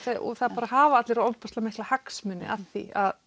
það hafa allir rosalega mikla hagsmuni af því að